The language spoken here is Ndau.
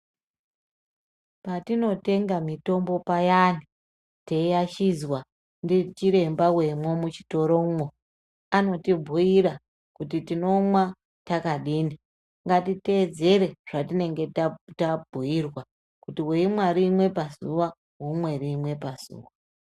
Patinotenga mitombo payani, teiashidzwa ndichiremba wemwo muchitoromwo, anotibhuira kuti tinomwa takadini. Ngatiteedzere zvatinenge tatabhuirwa ,kuti weimwa rimwe pazuwa womwa rimwe pazuwa.